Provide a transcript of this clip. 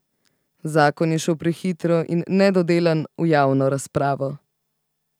Zakon je šel prehitro in nedodelan v javno razpravo.